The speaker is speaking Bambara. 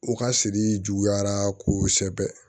U ka siri juguyara ko sɛbɛ